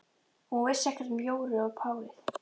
Og hún vissi ekkert um Jóru og párið.